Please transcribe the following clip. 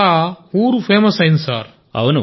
అలా ఊరు ఫేమస్ అయింది సార్